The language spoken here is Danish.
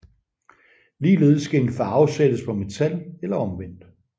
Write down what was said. Ligeledes skal en farve sættes på metal eller omvendt